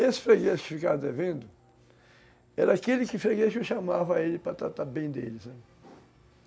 Esse freguês que ficavam devendo eram aqueles freguês que eu chamava a ele para tratar bem dele.